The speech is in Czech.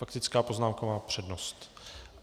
Faktická poznámka má přednost.